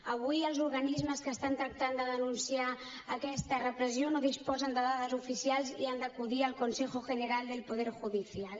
avui els organismes que estan tractant de denunciar aquesta repressió no disposen de dades oficials i han d’acudir al consejo general del poder judicial